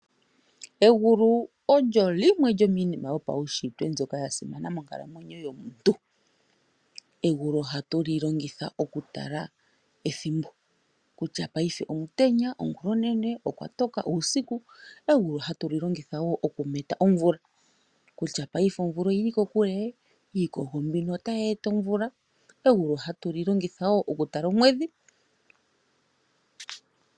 Egulu olyo limwe lyo miinima yopaushitwe lya simana monkalamwenyo yomuntu. Egulu ohatu li longitha oku tala ethimbo kutya paife omutenya, ongulonene, okwa toka, uusiku, egulu hatu li longitha oku meta omvula kutya paife oyili kokule, iikogo mbono otayi e ta omvula. Egulu hatu li longitha woo oku tala omwedhi.